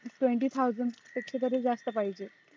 twenty thousand पेक्षा तरी जास्त पाहिजे